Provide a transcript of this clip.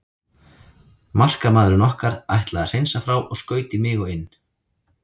Markamaðurinn okkar ætlaði að hreinsa frá og skaut í mig og inn.